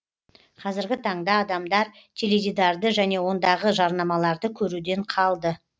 қазіргі таңда адамдар теледидарды және ондағы жарнамаларды көруден қалды